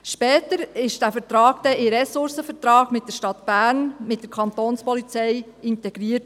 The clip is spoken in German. Später wurde der Vertrag dann in den Ressourcenvertrag der Stadt Bern mit der Kantonspolizei (Kapo) integriert.